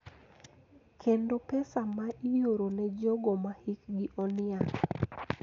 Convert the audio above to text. Kendo pesa ma ioro ne jogo mahikgi oniang�.